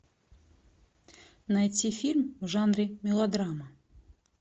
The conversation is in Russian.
найти фильм в жанре мелодрама